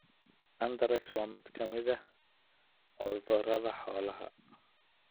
Anthrax waa mid ka mid ah cudurrada xoolaha.